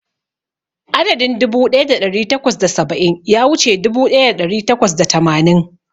Adadin dubu ɗaya da ɗari takwas da saba'in ya wuce dubu ɗaya da ɗari takwas da tamanin.